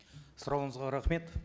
сұрағыңызға рахмет